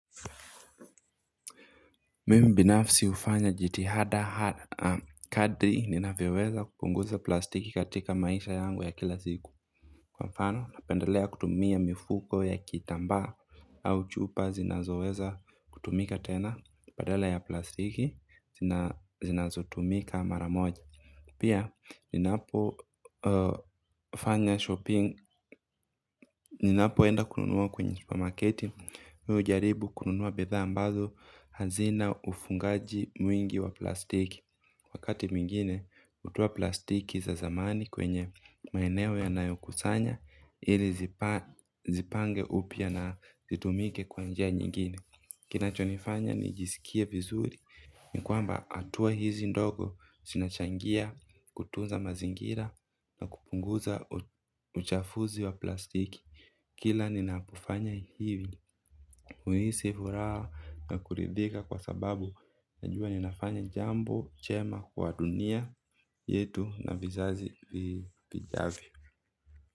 Mimi binafsi hufanya jitihada hada kadri ninavyoweza kupunguza plastiki katika maisha yangu ya kila siku. Mfano napendelea kutumia mifuko ya kitambaa au chupa zinazoweza kutumika tena badala ya plastiki zinazotumika mara moja. Pia ninapo fanya shopping, ninapoenda kununua kwenye supermarketi, mimi hujaribu kununua bidhaa ambazo hazina ufungaji mwingi wa plastiki. Wakati mwingine, hutoa plastiki za zamani kwenye maeneo yanayokusanya, ili zipange upya na zitumike kwa njia nyingine. Kinachonifanya nijisikie vizuri ni kwamba hatua hizi ndogo zinachangia kutunza mazingira na kupunguza uchafuzi wa plastiki. Kila ninapofanya hivi huhisi furaha na kuridhika kwa sababu najua ninafanya jambo jema kwa dunia yetu na vizazi vijavyo.